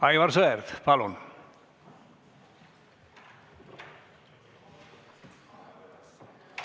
Aivar Sõerd, palun!